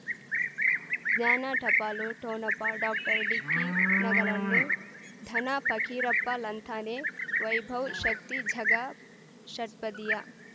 ಜ್ಞಾನ ಟಪಾಲು ಠೊಣಪ ಡಾಕ್ಟರ್ ಢಿಕ್ಕಿ ನಗಳನು ಧನ ಫಕೀರಪ್ಪ ಳಂತಾನೆ ವೈಭವ್ ಶಕ್ತಿ ಝಗಾ ಷಟ್ಪದಿಯ